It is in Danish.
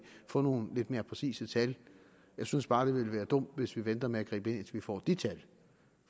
få nogle lidt mere præcise tal jeg synes bare at det vil være dumt hvis vi venter med at gribe ind til vi får de tal